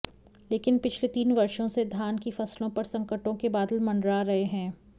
लेकिन पिछले तीन वर्षों से धान की फसलों पर संकटों के बादल मंडरा रहे हैं